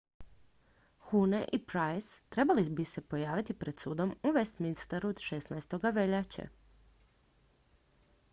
huhne i pryce trebali bi se pojaviti pred sudom u westminsteru 16. veljače